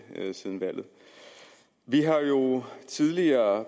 siden valget vi har jo tidligere